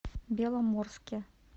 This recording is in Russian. беломорске